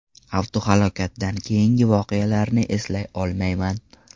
Avtohalokatdan keyingi voqealarni eslay olmayman.